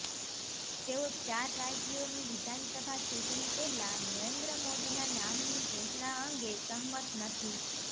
તેઓ ચાર રાજ્યોની વિધાનસભા ચૂંટણી પહેલા નરેન્દ્ર મોદીના નામની ઘોષણા અંગે સહમત નથી